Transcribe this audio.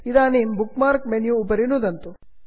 इदानीं bookmark menu उपरि नुदन्तु